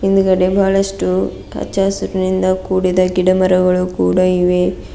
ಹಿಂದ್ಗಡೆ ಬಹಳಷ್ಟು ಹಚ್ಚ ಹಸಿರಿನಿಂದ ಕೂಡಿದ ಗಿಡಮರಗಳು ಕೂಡ ಇವೆ.